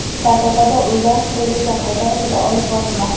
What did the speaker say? Sardobada uylar qurilishi qay darajada olib borilmoqda?.